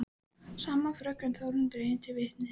Sama fröken Þórunn dregin til vitnis.